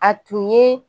A tun ye